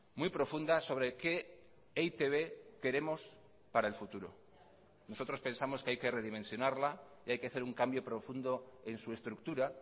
muy profunda sobre qué e i te be queremos para el futuro nosotros pensamos que hay que redimensionarla y hay que hacer un cambio profundo en su estructura